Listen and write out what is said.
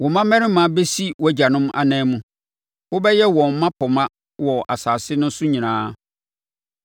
Wo mmammarima bɛsi wʼagyanom ananmu wobɛyɛ wɔn mmapɔmma wɔ asase no so nyinaa.